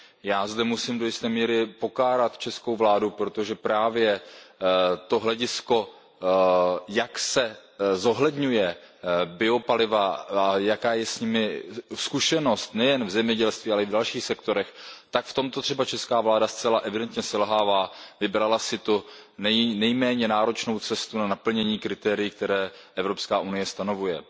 Já zde musím do jisté míry pokárat českou vládu, protože právě to hledisko, jak se zohledňují biopaliva a jaká je s nimi zkušenost nejen v zemědělství, ale i v dalších sektorech, tak v tomto třeba česká vláda zcela evidentně selhává, vybrala si tu nejméně náročnou cestu k naplnění kritérií, která Evropská unie stanovuje.